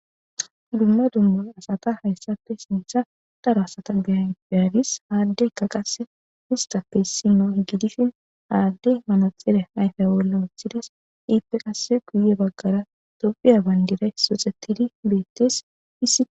dumma dummara asata hayssafe sintha daro asata gaya beyadis haaddeykka qase histape issino gidishin aaddey manaxire hayfe bolla woththides iippe qase guye baggara tobiya bayndiray soxetidi beettes isi